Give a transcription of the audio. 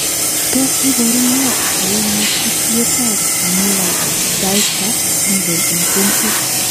Tos iboru nee koimutitietab Miller Dieker syndrome en kuntit?